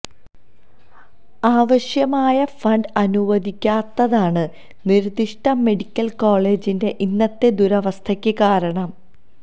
ആവശ്യമായ ഫണ്ട് അനുവദിക്കാത്തതാണ് നിര്ദ്ദിഷ്ട മെഡിക്കല് കോളജിന്റെ ഇന്നത്തെ ദുരവസ്ഥക്ക് കാരണം